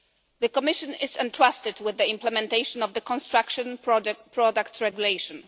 The Commission is entrusted with the implementation of the Construction Products Regulation.